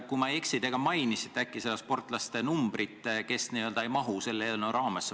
Kui ma ei eksi, siis te mainisite, kui palju on neid sportlasi, kes n-ö ei mahu selle eelnõu raamesse.